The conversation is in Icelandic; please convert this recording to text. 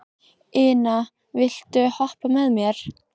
Ina, viltu hoppa með mér?